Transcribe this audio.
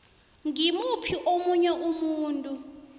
ngimuphi omunye umuntu